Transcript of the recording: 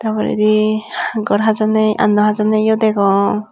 ta poredi gar hajanney anna hajanneyo degong.